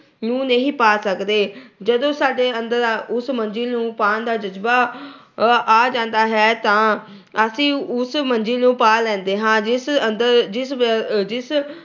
ਨੂੰ ਨਹੀਂ ਪਾ ਸਕਦੇ। ਜਦੋਂ ਸਾਡੇ ਅੰਦਰ ਉਸ ਮੰਜਿਲ ਨੂੰ ਪਾਉਣ ਦਾ ਜਜਬਾ ਆ ਜਾਂਦਾ ਹੈ ਤਾਂ ਅਸੀਂ ਉਸ ਮੰਜਿਲ ਨੂੰ ਪਾ ਲੈਂਦੇ ਹਾਂ। ਜਿਸ ਅੰਦਰ ਜਿਸ ਵਿਅ ਅਹ ਜਿਸ